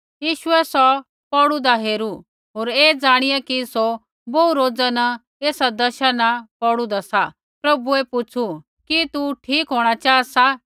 यीशुऐ सौ पौड़ु होन्दा हेरू होर ऐ ज़ाणिया कि सौ बोहू रोजा न ऐसा दशा न पौड़ु सा प्रभुऐ पुछु कि तू ठीक होंणा चाहा सा